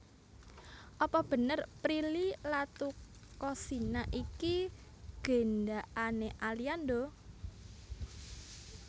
Apa bener Prilly Latuconsina iki gendakane Aliando?